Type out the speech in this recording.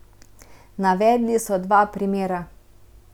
Navedli so dva primera.